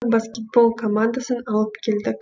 баскетбол командасын алып келдік